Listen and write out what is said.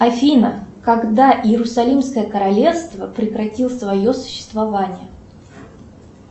афина когда иерусалимское королевство прекратило свое существование